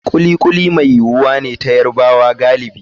Kuli kuli mai yuwuwa ne ta Yarubawa galibi.